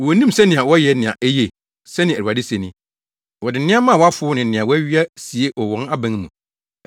“Wonnim sɛnea wɔyɛ nea eye,” sɛnea Awurade se ni. “Wɔde nneɛma a wɔafow ne nea wɔawia sie wɔ wɔn aban mu.”